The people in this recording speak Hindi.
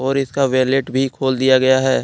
और इसका वैलेट भी खोल दिया गया है।